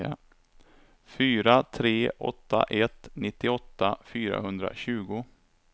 fyra tre åtta ett nittioåtta fyrahundratjugo